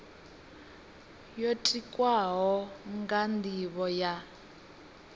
yo tikwaho nga nivho ya